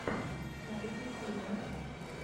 найти фильмы